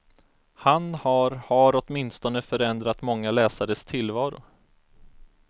Han har har åtminstone förändrat många läsares tillvaro.